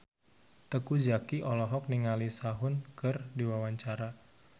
Teuku Zacky olohok ningali Sehun keur diwawancara